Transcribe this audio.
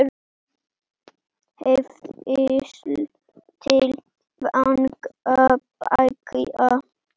Hvísl til vanga beggja?